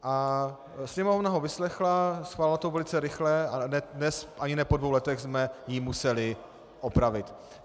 A Sněmovna ho vyslechla, schválila to velice rychle, a dnes, ani ne po dvou letech, jsme ji museli opravit.